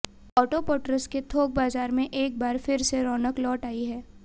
auto parts के थोक बाजार में एक बार फिर से रौनक लौट आई है